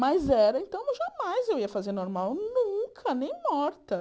Mas era, então jamais eu ia fazer normal, nunca, nem morta.